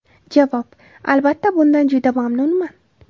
Javob: Albatta, bundan juda mamnunman.